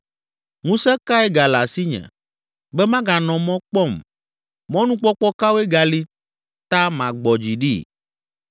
“Ŋusẽ kae gale asinye be maganɔ mɔ kpɔm? Mɔnukpɔkpɔ kawoe gali ta magbɔ dzi ɖi?